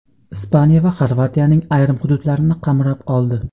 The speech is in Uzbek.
Ispaniya va Xorvatiyaning ayrim hududlarini qamrab oldi.